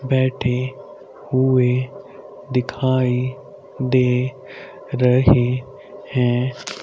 बैठे हुए दिखाई दे रहे है।